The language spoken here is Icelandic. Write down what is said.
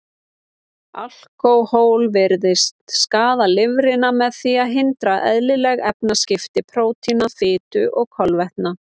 Alkóhól virðist skaða lifrina með því að hindra eðlileg efnaskipti prótína, fitu og kolvetna.